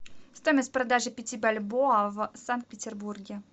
стоимость продажи пяти бальбоа в санкт петербурге